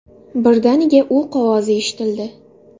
Birdaniga o‘q ovozi eshitildi.